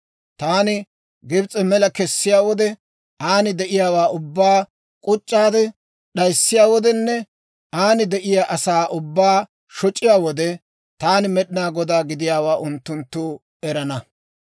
Taani Gibs'e mela kessiyaa wode, an de'iyaawaa ubbaa k'uc'c'aade d'ayissiyaa wodenne an de'iyaa asaa ubbaa shoc'iyaa wode, taani Med'inaa Godaa gidiyaawaa unttunttu erana.